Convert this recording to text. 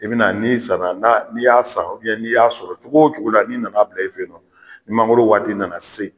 E bɛ na n'i sanan n'i y'a san ubɛn n'i y'a sɔrɔ cogo o cogo la n'i nana bila e fe nɔ ni mangoro waati nana se